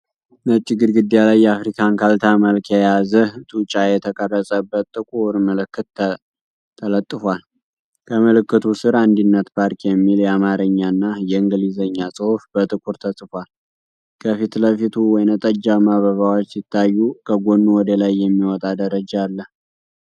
ነጭ ግድግዳ ላይ የአፍሪካን ካርታ መልክ የያዘ፣ ጡጫ የተቀረጸበት ጥቁር ምልክት ተለጥፏል። ከምልክቱ ስር "አንድነት ፓርክ" የሚል የአማርኛና የእንግሊዝኛ ጽሑፍ በጥቁር ተጽፏል። ከፊት ለፊቱ ወይንጠጃማ አበባዎች ሲታዩ ከጎኑ ወደ ላይ የሚወጣ ደረጃ አለ።